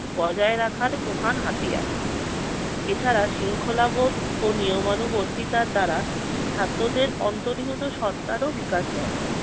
বজায় রাখার প্রধান হাতিয়ার। এছাড়া শৃঙ্খলাবোধ ও নিয়মানুবর্তিতা দ্বারা ছাত্রদের অন্তরিহত সত্তারও বিকাশ ঘটে।